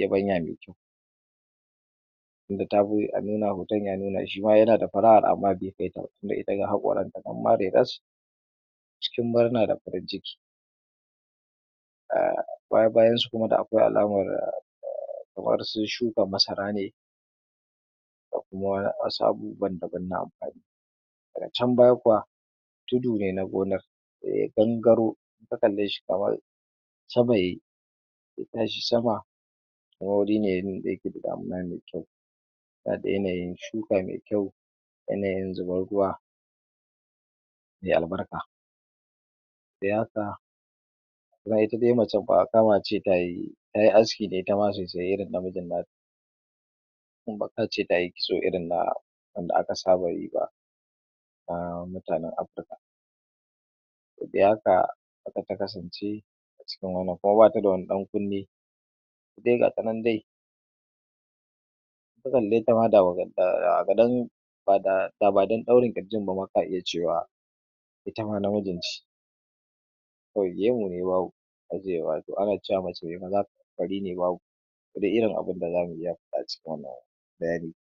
yabanya me kyau tinda tafi a nuna wa mutum ya nuna shima yana datashi fara'ar amma be kaita ba tinda ita ga haƙoranta ma nan reras cikin murna da farin ciki um baya bayan su kuma da akwai alamar kamar sun shuka masara ne da kuma wasu abubuwan daban na amfani daga can baya kuwa tudu ne na gonar daya gangaro ka kalle shi kamar sama yayi ya tashi sama kuma guri ne da yake da damuna me kyau yana da yanayin shuka me kyau yanayin zubar ruwa me albarka um ma ita dai macen ba kama ce tayi[um] aski ne sosai irin na mijin nata dan baƙa ce tayi kitso irin na wanda aka saba yiba kuma mutanen afrika to dai haka haka ta kasance acikin wanna kuma bata da wani ɗankunne ita dai gata nan dai in ka kalleta ma [um]da badan ɗaurin ƙirjin bama ka iya cewa ita ma namiji ce kawai gemu ne babu ana cewa mace fari ne babu wanne irin abinda zamu iya faɗa a cikin wannan bayani